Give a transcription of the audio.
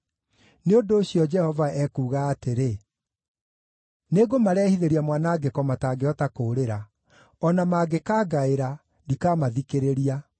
Nĩ ũndũ ũcio, Jehova ekuuga atĩrĩ: ‘Nĩngũmarehithĩria mwanangĩko matangĩhota kũũrĩra. O na mangĩkaangaĩra, ndikamathikĩrĩria.